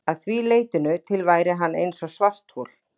Að því leytinu til væri hann eins og svarthol.